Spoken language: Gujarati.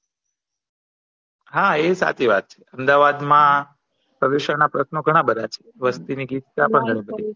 હા એ સાચી વાત છે અમદાવાદ માં પ્રદુષણ ના પ્રશ્નો ઘણા બધા છે વસ્તીની ગીત ત્યાં પણ નથી